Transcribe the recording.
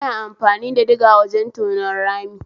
Ana amfani da diga wajen tonon rami